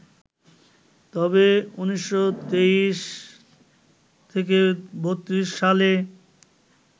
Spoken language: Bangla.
তবে ১৯২৩-৩২ সালে